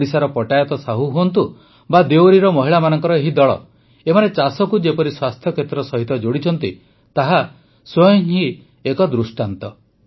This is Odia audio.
ଓଡ଼ିଶାର ପଟାୟତ ସାହୁ ହୁଅନ୍ତା ବା ଦେୱରିର ମହିଳାମାନଙ୍କ ଏହି ଦଳ ଏମାନେ ଚାଷକୁ ଯେପରି ସ୍ୱାସ୍ଥ୍ୟକ୍ଷେତ୍ର ସହିତ ଯୋଡ଼ିଛନ୍ତି ତାହା ସ୍ୱୟଂ ହିଁ ଏକ ଦୃଷ୍ଟାନ୍ତ